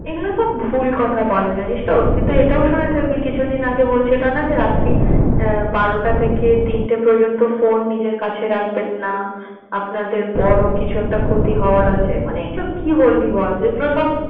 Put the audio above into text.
এগুলো সব ভুল কথা বলে জানিস্ তো? তুই তো এটাও শুনে থাকবি কিছুদিন আগে বলছে তা না যে বলছে রাত্রি বারোটা থেকে তিনটা পর্যন্ত phone নিজের কাছে রাখবেন না, আপনাদের বড় কিছু একটা ক্ষতি হওয়ার আছে। মানে এটা কি বলবি বল? যেগুলো সব